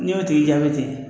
N'i y'o tigi jaabi ten